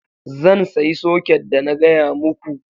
Zan sayi soket da na gaya muku